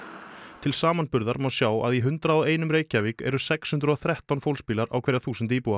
til samanburðar má sjá að í hundrað og einum Reykjavík eru sex hundruð og þrettán fólksbílar á hverja þúsund íbúa